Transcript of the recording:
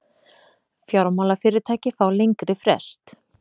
Fjármálafyrirtæki fá lengri frest